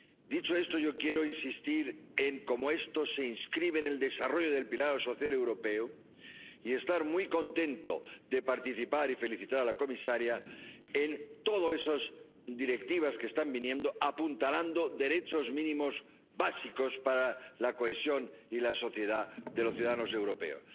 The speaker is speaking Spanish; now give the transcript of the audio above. Dicho esto, yo quiero insistir en cómo esto se inscribe en el desarrollo del pilar europeo de derechos sociales, y estoy muy contento de participar y felicitar a la comisaria por todas esas directivas que están apuntalando derechos mínimos básicos para la cohesión y la sociedad de los ciudadanos europeos.